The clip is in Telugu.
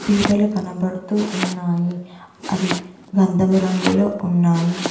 పిఠాలు కనబడుతూ ఉన్నాయి అవి గంధము రంగులో ఉన్నాయి.